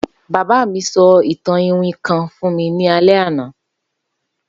Baba mi sọ itan itan iwin kan fun mi ni alẹ ana